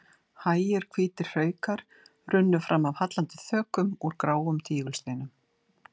Hægir hvítir hraukar runnu fram af hallandi þökum úr gráum tígulsteinum.